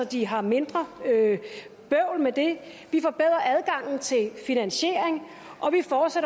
de har mindre bøvl med det at vi forbedrer adgangen til finansiering